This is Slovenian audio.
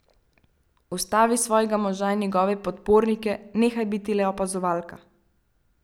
Ustavi svojega moža in njegove podpornike, nehaj biti le opazovalka!